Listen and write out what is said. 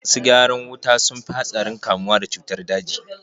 Masu gyaran wuta sun fi hatsarin kamuwa da cutar daji.